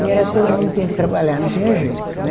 E era, todo mundo tinha que trabalhar, não tinha jeito, né?